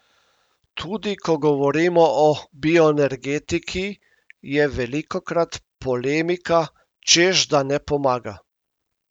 Tudi ko govorimo o bioenergetiki, je velikokrat polemika, češ da ne pomaga.